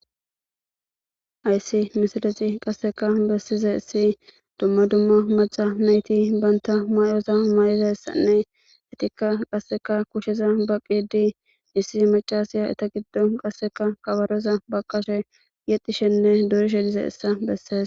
Aysi misilexi qasseka bessize issi dumma dumma maca nayti banta may7oza may7eza essanne etikka qasseka kusheza baqidi issi macasiya eta giddo qasseka kabaroza baqashe yexdishenne dorishe dize essa besses